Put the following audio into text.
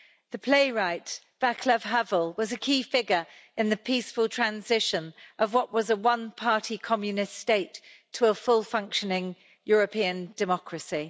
The playwright Václav Havel was a key figure in the peaceful transition of what was a one party Communist state to a fully functioning European democracy.